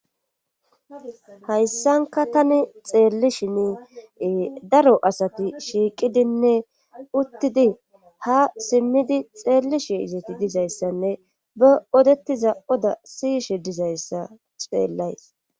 Hayssanka tani xeellishin daro asati shiiqidinne uttidi ha simmidi xeellishi izati dizayssanne ba odettiza oda siyishe dizayssa xeellays.